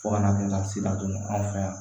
Fo ka na kɛ lasi ladon anw fɛ yan